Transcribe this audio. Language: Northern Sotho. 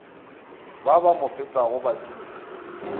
ba ba mo fetago baditi